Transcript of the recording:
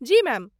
जी ma'am.